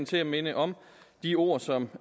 til at minde om de ord som